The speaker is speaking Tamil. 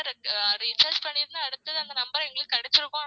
ஆஹ் recharge பண்ணிருந்தா அடுத்தது அந்த number எங்களுக்கு கிடைச்சிருக்கும்